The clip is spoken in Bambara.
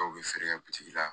Dɔw bɛ feere kɛ la